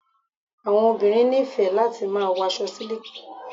Àwọn obìnrin nífẹ̀ẹ́ láti máa wo aṣọ síliki